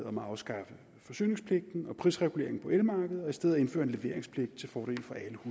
om at afskaffe forsyningspligten og prisreguleringen på elmarkedet og i stedet indføre en leveringspligt til fordel for